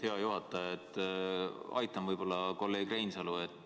Hea juhataja, ma aitan võib-olla kolleeg Reinsalu.